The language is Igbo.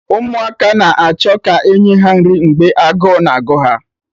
Ụmụaka na-achọ ka e nye ha nri mgbe agụụ na-agụ ha